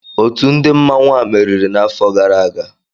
Ótù ndị òtù ndị mmanwu a merịrị n'àfọ gàrà aga